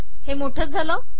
हे मोठे झाले